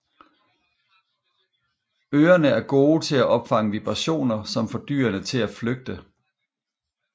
Ørerne er gode til at opfange vibrationer som får dyrene til at flygte